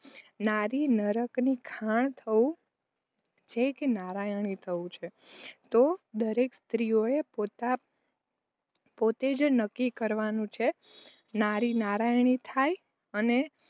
નારીએ નરકની ખાણ થવું છે કે નારાયણી થવું છે તો દરેક સ્ત્રીએ પોતે જ નક્કી કરવાનું છે. નારી નારાયણી થાય અને